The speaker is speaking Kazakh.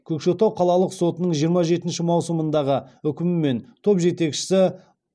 көкшетау қалалық сотының жиырма жетінші маусымдағы үкімімен топ жетекшісі